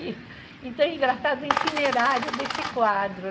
Então, engraçado o itinerário desse quadro.